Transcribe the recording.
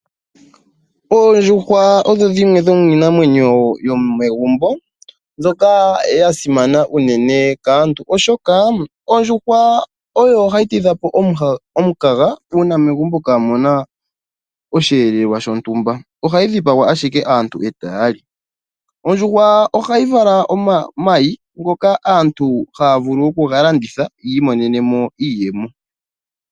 Oondjuhwa odho dhimwe dhomiinamwenyo yomegumbo, dhoka ya simana unene kaantu, oshoka ondjuhwa oyo hayi tidhapo omukaga uuna megumbo kaamuna osheelelwa shontumba, ohayi dhipagwa ashike aantu eta yali. Ondjuhwa ohayi vala omayi ngoka aantu haya vulu okuga landitha ya imonene mo iiyemo.